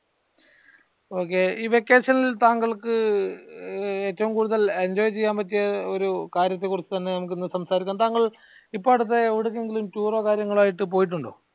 ok ഈ vacation ഇൽ താങ്കൾക്ക് ഏറ്റവും കൂടുതൽ enjoy ചെയ്യാൻ പറ്റിയ ഒരു കാര്യത്തെ കുറിച്ച തന്നെ നമ്ക് ഇന്ന് സംസാരിക്കാം താങ്കൾ ഇപ്പൊ അടുത്തായി എവിടുന്നെങ്കിലും tour ഓ കാര്യങ്ങള് ആയിട്ട് പോയിട്ടുണ്ടോ?